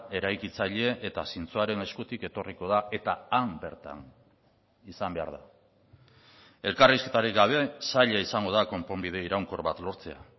eraikitzaile eta zintzoaren eskutik etorriko da eta han bertan izan behar da elkarrizketarik gabe zaila izango da konponbide iraunkor bat lortzea